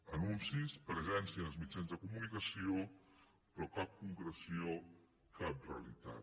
anuncis presència en els mitjans de comunicació però cap concreció cap realitat